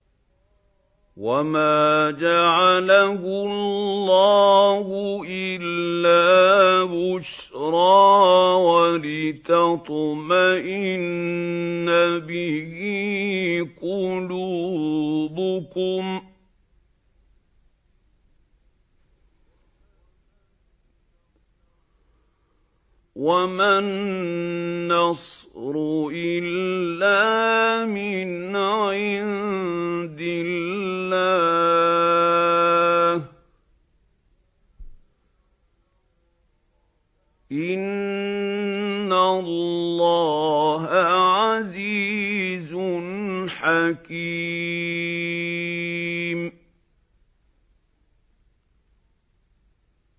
وَمَا جَعَلَهُ اللَّهُ إِلَّا بُشْرَىٰ وَلِتَطْمَئِنَّ بِهِ قُلُوبُكُمْ ۚ وَمَا النَّصْرُ إِلَّا مِنْ عِندِ اللَّهِ ۚ إِنَّ اللَّهَ عَزِيزٌ حَكِيمٌ